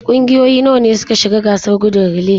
Kungiyoyi nawa ne suka shiga gasar gudun relay?